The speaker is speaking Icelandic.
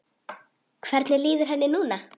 Hvernig líður henni núna?